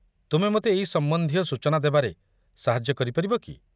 ତୁମେ ମୋତେ ଏଇ ସମ୍ବନ୍ଧୀୟ ସୂଚନା ଦେବାରେ ସାହାଯ୍ୟ କରିପାରିବ କି?